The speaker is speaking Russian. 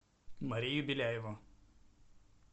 марию беляеву